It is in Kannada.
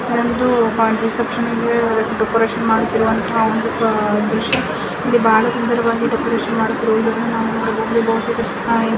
ರಿಸೆಪ್ಶನ್ ಗೆ ಡೆಕೋರೇಷನ್ ಮಾಡುತಿರುವಂತಹ ಒಂದು ದೃಶ್ಯ --